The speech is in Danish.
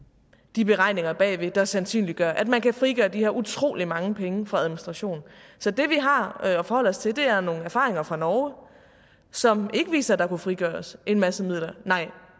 de beregninger bagved der sandsynliggør at man kan frigøre de her utrolig mange penge fra administration så det vi har at forholde os til er nogle erfaringer fra norge som ikke viser at der kunne frigøres en masse midler